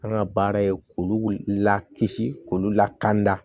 An ka baara ye k'olu lakisi k'olu lakana